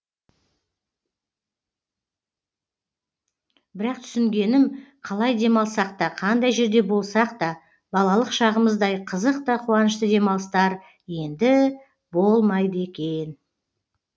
бірақ түсінгенім қалай демалсақ та қандай жерде болсақ та балалық шағымыздай қызық та қуанышты демалыстар енді болмайды екен